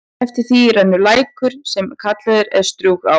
Eftir því rennur lækur, sem kallaður er Strjúgsá.